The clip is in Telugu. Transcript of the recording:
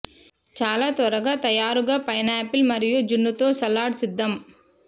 చాలా త్వరగా తయారుగా పైనాపిల్ మరియు జున్ను తో సలాడ్ సిద్ధం